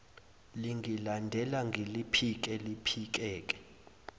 lingilandela ngiliphike liphikeke